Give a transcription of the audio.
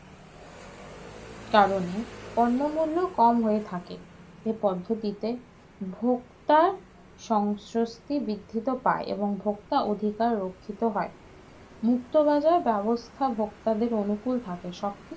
কারণের দ্রব্যমূল্য কম হয়ে থাকে এই পদ্ধতিতে ভোক্তার সংশ্লিষ্ট বৃদ্ধিতে ভাই এবং ভোক্তার রক্ষিত হয় মুক্তবাজার ব্যবস্থা ভোক্তাদের অনুকুল থাকে।